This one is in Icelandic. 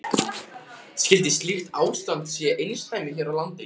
Skyldi slíkt ástand sé einsdæmi hér á landi?